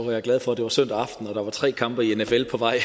jeg glad for at det var søndag aften og der var tre kampe i nfl på vej